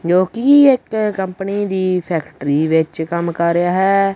ਜੋ ਕਿ ਇਕ ਕੰਪਨੀ ਦੀ ਫੈਕਟਰੀ ਵਿੱਚ ਕੰਮ ਕਰ ਰਿਹਾ ਹੈ।